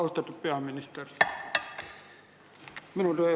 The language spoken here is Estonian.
Austatud peaminister!